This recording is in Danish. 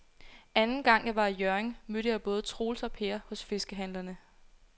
Anden gang jeg var i Hjørring, mødte jeg både Troels og Per hos fiskehandlerne.